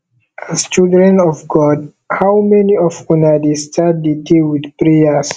as children of god how many of una dey start the day with prayers